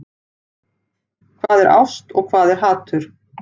Hvað er ást og hvað er hatur?